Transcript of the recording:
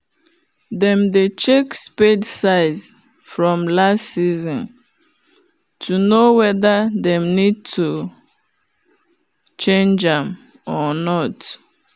them dey check spade size from last season to know weather them need to change am or not.